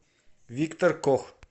виктор кох